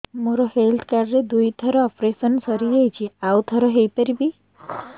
ମୋର health card ରେ ଦୁଇ ଥର ଅପେରସନ ସାରି ଯାଇଛି ଆଉ ଥର ହେଇପାରିବ